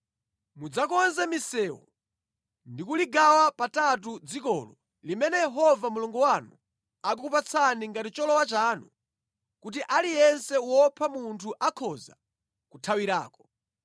Mudzakonze misewu ndi kuligawa patatu dzikolo limene Yehova Mulungu wanu akukupatsani ngati cholowa chanu, kuti aliyense wopha munthu akhoza kuthawirako.